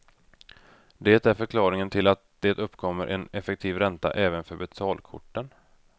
Det är förklaringen till att det uppkommer en effektiv ränta även för betalkorten.